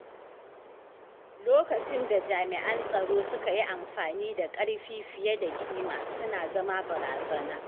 Lokacin da jami'an tsaro suka yi amfani da ƙarfi fiye da kima suna zama barazana.